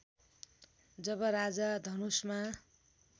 जब राजा धनुषमा